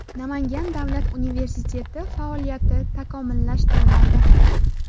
Namangan davlat universiteti faoliyati takomillashtiriladi.